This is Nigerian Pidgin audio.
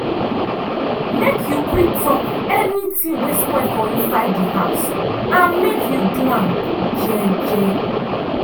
make you quick talk any ting wey spoil for inside di house and make u do am je je.